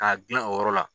K'a gilan o yɔrɔ la